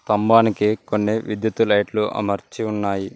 స్తంభానికి కొన్ని విద్యుత్తు లైట్లు అమర్చి ఉన్నాయి.